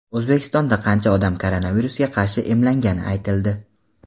O‘zbekistonda qancha odam koronavirusga qarshi emlangani aytildi.